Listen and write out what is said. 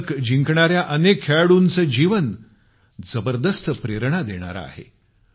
पदक जिंकणाऱ्या अनेक खेळाडूंचं जीवन जबरदस्त प्रेरणा देणारं आहे